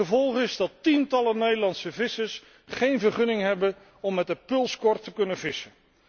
Gevolg is dat tientallen Nederlandse vissers geen vergunning hebben om met de pulskor te kunnen vissen.